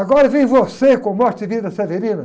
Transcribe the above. Agora vem você com Morte e Vida Severina.